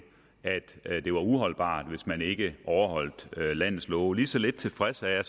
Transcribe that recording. at det var uholdbart hvis man ikke overholdt landets love lige så lidt tilfreds er